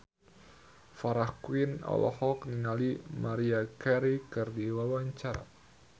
Farah Quinn olohok ningali Maria Carey keur diwawancara